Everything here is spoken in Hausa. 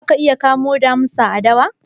Za ka iya kamo damisa a dawa?